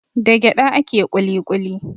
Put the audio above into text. Da gyaɗa ake kuli kuli.